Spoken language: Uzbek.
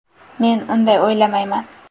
Men unday o‘ylamayman.